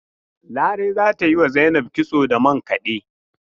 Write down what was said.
Larai za ta yi wa Zainab kitso da mankade.